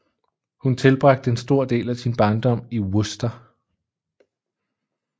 Hun tilbragte en stor del af sin barndom i Worcester